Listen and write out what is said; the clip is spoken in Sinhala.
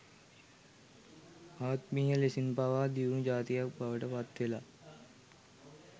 ආත්මීය ලෙසින් පවා දියුණු ජාතියක් බවට පත් වෙලා